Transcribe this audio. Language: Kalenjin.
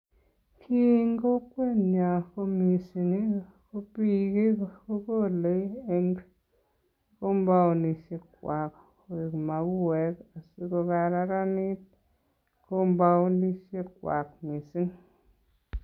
en kokwenyon ko mising ii ko biik kogole en kombounishek kwag koik mauwek asikokararanit kompounishekwag mising